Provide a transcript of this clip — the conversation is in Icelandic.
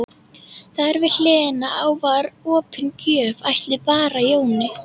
Þar við hliðina á var opin gröf ætluð Bara Jóni.